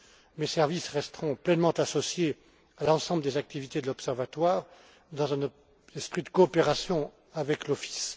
Mes services resteront pleinement associés à l'ensemble des activités de l'Observatoire, dans un esprit de coopération avec l'Office.